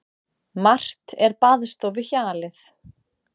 Margt er baðstofuhjalið.